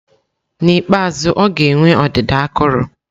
N'ikpeazụ, ọ ga-enwe ọdịda akụrụ.